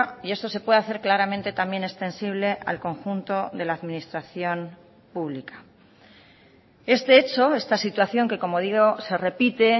y esto se puede hacer claramente también extensible al conjunto de la administración pública este hecho esta situación que como digo se repite